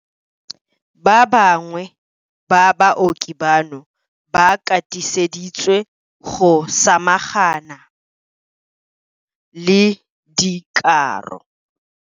Ba bangwe ba baoki bano ba katiseditswe go samagana le dikaro.